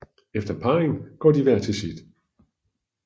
Efter parringen går de hver til sit